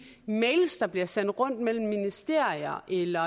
mails der bliver sendt rundt mellem ministerier eller